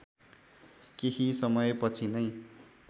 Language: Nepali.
केही समयपछि नै